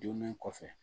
Donnen kɔfɛ